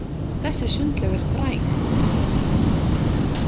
Þessi sundlaug er fræg, sagði hún.